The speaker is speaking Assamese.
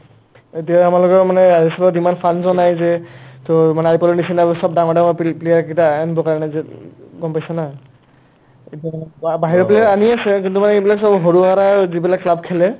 এতিয়া আমাৰ লগৰ মানে ISL ৰ যিমান funds ও আহিছে তোৰ মানে IPL ৰ নিচিনা অ' চব ডাঙৰ ডাঙৰ pe ~player কিটা আ আনবৰ কাৰণে যে গম পাইছা না বা বাহিৰৰ পিনে আনিয়ে আছে কিন্তু মানে ইবিলাক চব সৰু-সৰা যিবিলাক club খেলে